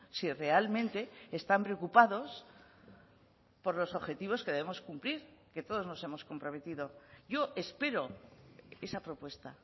si realmente están preocupados por los objetivos que debemos cumplir que todos nos hemos comprometido yo espero esa propuesta